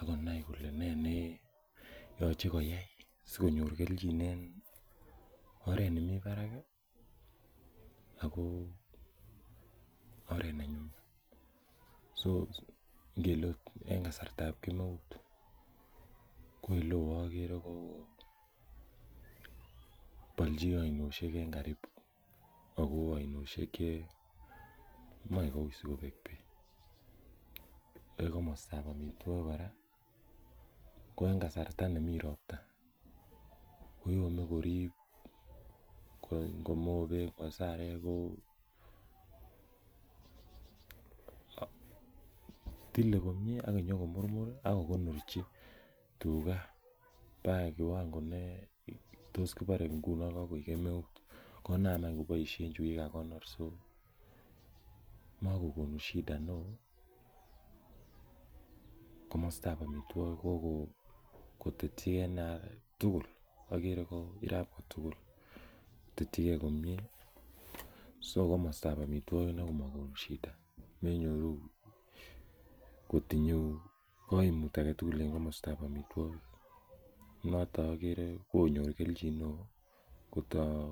akonai kole nee neyoche koyai sikonyor kelchin en oret nemii barak ih ako oret nenyumnyum so ngele ot en kasartab kemeut ko eleoo okere kobolji ainosiek en karibu ako ainosiek chemoe koui sikobek beek en komostab amitwogik kora ko en kasarta nemii ropta koyome korib ngo mobeek ngo sarek ko tile komie ak nyokomurmur ak kokonorchi tuga baka kiwango ne tos kibore ngunon kakoik kemeut konam any koboisien chukikakonor so makokonu shida neoo komostab amitwogik kokotetyigee inei tugul okere ko irab tugul kotetyigee komie so komostab amitwogik inei komokonu shida menyoru kotinye koimut aketugul komostab amitwogik noto okere konyor kelchin neoo kotoo